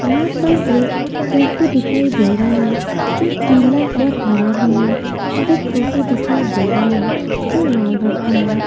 यहां पर एक टेंपू दिखाई दे रहा है जो पीला और हरा में है और एक टोटो दिखाई दे रहा है जो लाल रंग में है।